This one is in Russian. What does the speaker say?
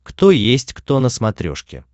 кто есть кто на смотрешке